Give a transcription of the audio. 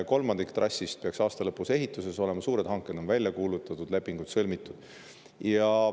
Kolmandik trassist peaks aasta lõpuks ehituses olema, suured hanked on välja kuulutatud, lepingud sõlmitud.